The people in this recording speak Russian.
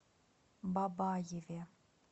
бабаеве